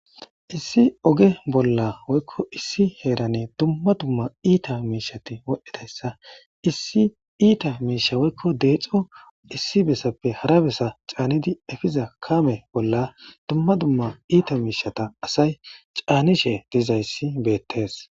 issi oge bolla woykko issi heerane dumma dumma iita miishati wodhdhidayssa issi iita miisha woykko deexo issi bessappe hara besa caanidi efiza kame bolla dumma dumma iita miishata asay caanishe dizayssi beettes